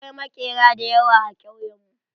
Akwai maƙera da yawa a kauyen mu.